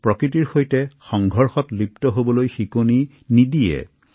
আমি প্ৰকৃতিৰ সৈতে সামঞ্জস্য ৰাখি জীয়াই থাকিব লাগিব